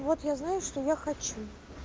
вот я знаю что я хочу